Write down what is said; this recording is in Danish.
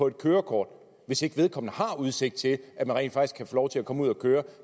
et kørekort hvis vedkommende har udsigt til rent faktisk lov til at komme ud at køre